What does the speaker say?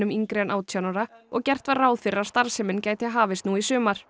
yngri en átján ára og gert var ráð fyrir að starfsemin gæti hafist nú í sumar